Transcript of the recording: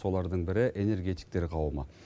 солардың бірі энергетиктер қауымы